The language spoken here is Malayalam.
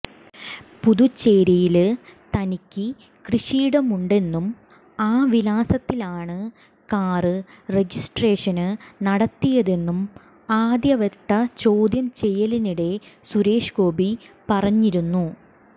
പുതുച്ചേരിയില് തനിക്ക് കൃഷിയിടമുണ്ടെന്നും ആ വിലാസത്തിലാണ് കാര് രജിസ്ട്രേഷന് നടത്തിയതെന്നും ആദ്യവട്ട ചോദ്യം ചെയ്യലിനിടെ സുരേഷ്ഗോപി പറഞ്ഞിരുനനു